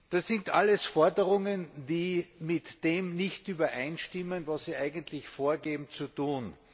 Das sind alles Forderungen, die mit dem nicht übereinstimmen, was Sie eigentlich vorgeben zu tun.